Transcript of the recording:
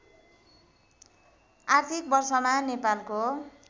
आर्थिक वर्षमा नेपालको